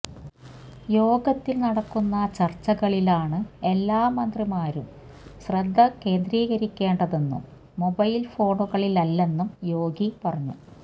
യോഗത്തില് നടക്കുന്ന ചര്ച്ചകളിലാണ് എല്ലാ മന്ത്രിമാരും ശ്രദ്ധ കേന്ദ്രീകരിക്കേണ്ടതെന്നും മൊബൈല് ഫോണുകളിലല്ലെന്നും യോഗി പറഞ്ഞു